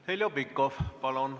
Heljo Pikhof, palun!